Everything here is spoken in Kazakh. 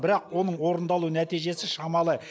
бірақ оның орындалу нәтижесі шамалы